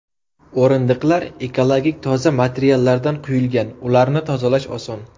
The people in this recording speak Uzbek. O‘rindiqlar ekologik toza materiallardan quyilgan, ularni tozalash oson.